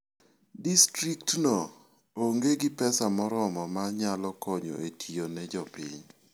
Distriktno onge gi pesa moromo ma nyalo konyo e tiyo ne jopiny.